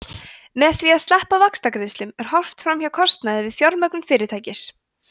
með því að sleppa vaxtagreiðslum er horft fram hjá kostnaði við fjármögnun fyrirtækis